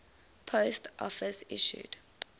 post office issued